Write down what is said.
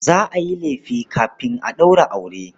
Za a yi lefe kafin a ɗaura aure.